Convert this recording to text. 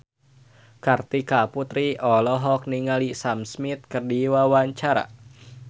Kartika Putri olohok ningali Sam Smith keur diwawancara